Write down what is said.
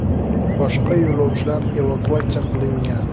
Boshqa yo‘lovchilar evakuatsiya qilingan.